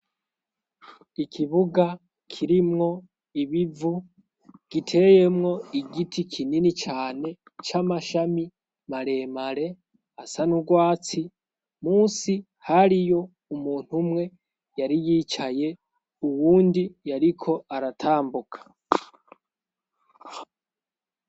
Ikibuga kirimwo ibivu giteyemwo igiti kinini cane c'amashami maremare asa n'urwatsi munsi hariyo umuntu umwe yari yicaye uwundi yariko aratambuka